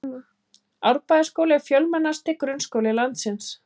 Árbæjarskóli er fjölmennasti grunnskóli landsins.